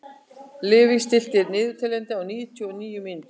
Levý, stilltu niðurteljara á níutíu og níu mínútur.